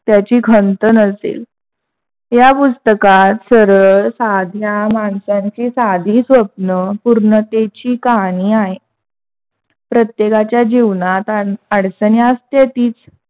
त्याची खंत नसेल. ह्या पुस्तकात सरळ साध्या माणसांची साधी स्वप्न पूर्णतेची कहाणी आहे. प्रत्येकाच्या जीवनात अडचणी असत्यातीच.